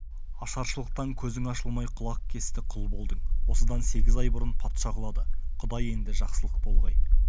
ашаршылықтан көзің ашылмай құлақкесті құл болдың осыдан сегіз ай бұрын патша құлады құдай енді жақсылық болғай